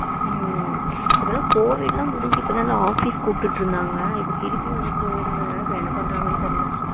ஹம் இப்போ எல்லாம் கோவிட் எல்லாம் முடிஞ்சு ஆபிஸ்க்கு கூப்ட்டுட்டு இருந்தாங்க இப்போ திருப்பி வந்து கோவிட் ங்குறதுனால என்ன பண்றங்கன்னு தெரில,